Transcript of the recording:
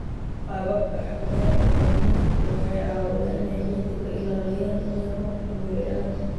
Qaababka xakamaynta nabaadguurku waxay caawiyaan inay ciidda ka ilaaliyaan inay roobku maydhaan.